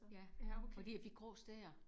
Ja. Fordi jeg fik grå stær